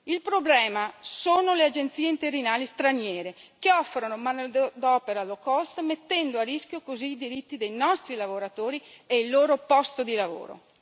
Il problema sono le agenzie interinali straniere che offrono manodopera low cost mettendo a rischio così i diritti dei nostri lavoratori e il loro posto di lavoro.